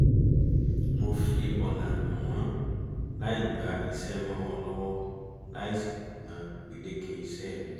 mo fi ọ̀nà hàn wọ́n láì gba iṣẹ́ mọ́ wọn lọ́wọ́ láì sì kùnà gbèdéke iṣẹ́ mi